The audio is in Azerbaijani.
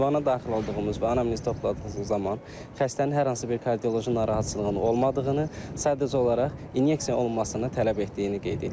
Ünvana daxil olduğumuz və anamnez topladığımız zaman xəstənin hər hansı bir kardioloji narahatçılığının olmadığını, sadəcə olaraq inyeksiya olunmasını tələb etdiyini qeyd eləyirik.